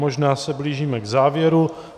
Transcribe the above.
Možná se blížíme k závěru.